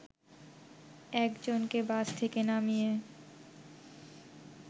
এক জনকে বাস থেকে নামিয়ে